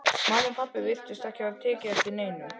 Mamma og pabbi virtust ekki hafa tekið eftir neinu.